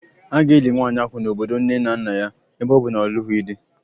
A ga-eli nwanyị ahụ n'obodo nne na nna ya ebe ọ bụ na ọ na-alụghị di